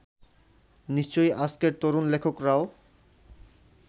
নিশ্চয়ই আজকের তরুণ লেখকেরাও